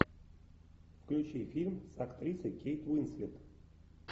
включи фильм с актрисой кейт уинслет